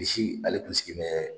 Bilisi ale kun sigi bɛ